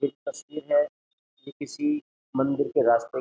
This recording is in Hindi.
एक तस्वीर है ये किसी मंदिर के राज्य --